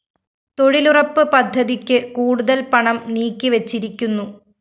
തൊഴിലുറപ്പ് പദ്ധതിക്ക് കൂടുതല്‍ പണം നീക്കിവെച്ചിരിക്കുന്നു